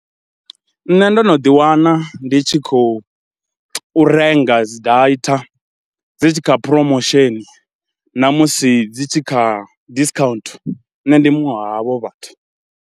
Nṋe ndo no ḓiwana ndi tshi khou u renga dzi data dzi tshi kha phromosheni na musi dzi tshi kha discount, nṋe ndi muṅwe wa havho vhathu.